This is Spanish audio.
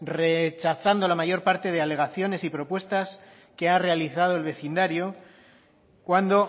rechazando la mayor parte de alegaciones y propuestas que ha realizado el vecindario cuando